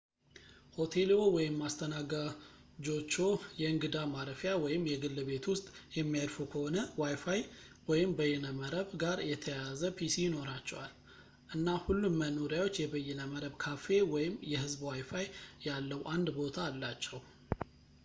ሆቴልዎ ወይም አስተናጋጆችዎ የእንግዳ ማረፊያ ወይም የግል ቤት ውስጥ የሚያርፉ ከሆነ ዋይፋይ ወይም በይነመረብ ጋር የተያያዘ ፒሲ ይኖራቸዋል፣ እና ሁሉም መኖሪያዎች የበይነመረብ ካፌ ወይም የህዝብ ዋይፋይ ያለው አንድ ቦታ አላቸው